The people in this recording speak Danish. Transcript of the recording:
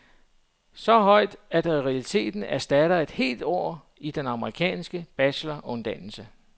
Så højt, at det i realiteten erstatter et helt år i den amerikanske bacheloruddannelse.